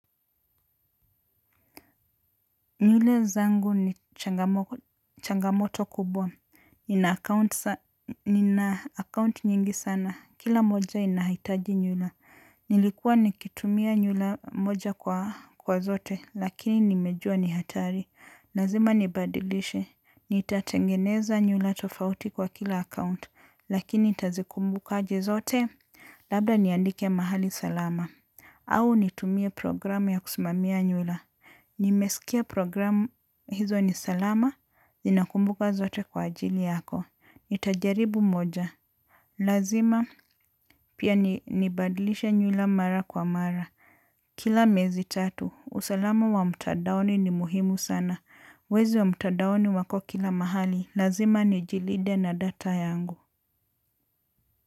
Nywele zangu ni changamoto kubwa, akaunti nyingi sana, kila moja inahitaji nywila. Nilikuwa nikitumia nywila moja kwa zote, lakini nimejua ni hatari, lazima nibadilishe. Nitatengeneza nywila tofauti kwa kila akaunti, lakini nitazikumbukaje zote, labda niandike mahali salama. Au nitumie programu ya kusimamia nywila. Nimesikia programu hizo ni salama. Zinakumbuka zote kwa ajili yako. Nitajaribu moja. Lazima pia nibadilishe nywila mara kwa mara. Kila mezi tatu. Usalama wa mtandaoni ni muhimu sana. Wezi wa mtadaoni wako kila mahali. Lazima nijilinde na data yangu.